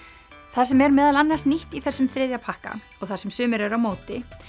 það sem er meðal annars nýtt í þessum þriðja pakka og það sem sumir eru á móti